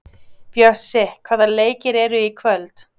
Bjössi, hvaða leikir eru í kvöld?